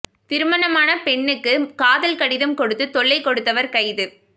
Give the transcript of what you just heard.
திருமணமான பெண்ணுக்கு காதல் கடிதம் கொடுத்து தொல்லை கொடுத்தவர் கைது